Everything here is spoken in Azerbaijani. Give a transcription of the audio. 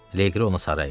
Leqri ona sarı əyildi.